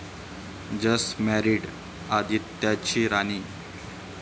Just मॅरिड..आदित्यची 'राणी'!